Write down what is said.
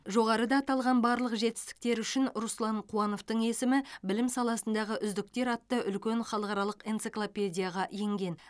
жоғарыда аталған барлық жетістіктері үшін руслан қуановтың есімі білім саласындағы үздіктер атты үлкен халықаралық энциклопедияға енген